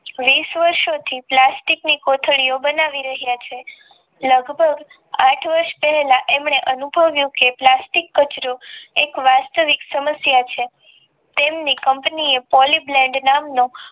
વિષ વર્ષોથી પ્લાસ્ટિક ની કોથળીઓ બનાવી રહ્યા છે લગભગ આઠ વર્ષ પહેલા એમને અનુભવ્યું કે પ્લાસ્ટિક કચરો એક વાસ્તવિક સમસ્ત સમસ્યા છે તેમની કંપનીએ Poly Blend નામનો